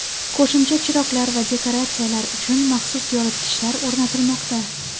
Qo‘shimcha chiroqlar va dekoratsiyalar uchun maxsus yoritgichlar o‘rnatilmoqda.